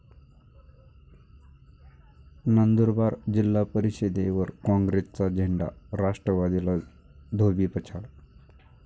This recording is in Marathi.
नंदुरबार जिल्हा परिषदेवर काँग्रेसचा झेंडा, राष्ट्रवादीला धोबीपछाड